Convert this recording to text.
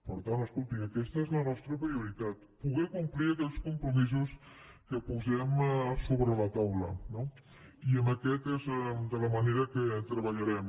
per tant escolti aquesta és la nostra prioritat poder complir aquells compromisos que posem sobre la taula no i aquesta és la manera que treballarem